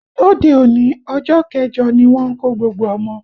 Lóde òní, ọjọ́ kẹjọ ni wọ́n ń kó gbogbo ọmọ